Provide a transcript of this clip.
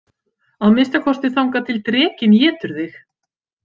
Að minnsta kosti þangað til drekinn étur þig.